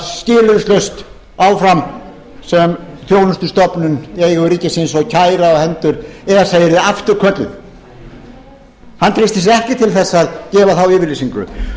skilyrðislaust áfram sem þjónustustofnun í eigu ríkisins og kæra á hendur honum yrði afturkölluð hann treysti sér ekki til að gefa þá yfirlýsingu